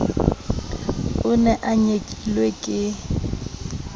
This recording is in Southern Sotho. o ne o nyekilwe ke